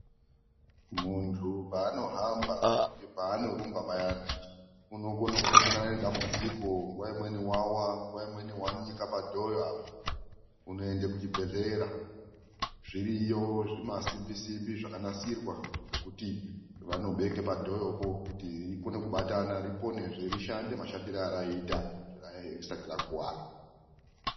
Muntu paanohamba kana paanorumba payana unokone kumbosangane nedambudziko nguwa imweni wawa nguwa imweni wanika padhoyo apa unoende kuchibhehlera ,zviriyo zvimasimbi simbi zvakanasirwa zvekuti vanobeke padhoyopo kuti reikona kubatana ripone zve rishande mashandire arayiita zvaraiya risati rakuwara.